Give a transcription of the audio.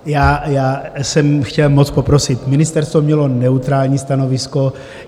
Já jsem chtěl moc poprosit: ministerstvo mělo neutrální stanovisko.